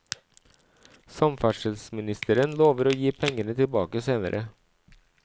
Samferdselsministeren lover å gi pengene tilbake senere.